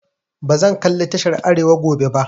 Bazan kalli tashar arewa gobe ba.